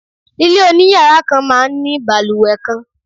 Ilé oniyara kàn máa ń ní baluwe kan